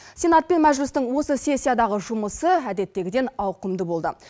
сенат пен мәжілістің осы сессиядағы жұмысы әдеттегіден ауқымды болды